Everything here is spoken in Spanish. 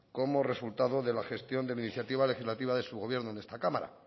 como resultado de la gestión de la iniciativa legislativa de su gobierno en esta cámara